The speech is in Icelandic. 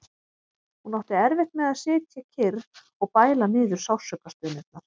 Hún átti erfitt með að sitja kyrr og bæla niður sársaukastunurnar.